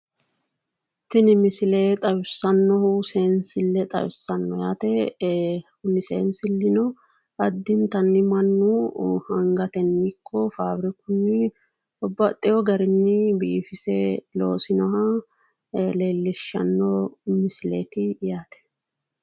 Tini misile xawissannohu seensille xawissa kuni seensillino addntanni mannu angatenni ikko fabirikunni babbaxxino garinni biifise loosinoha leellishanno misileeti yaate.